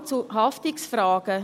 Es gibt Fragen zu Haftungsfragen: